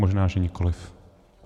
Možná že nikoliv.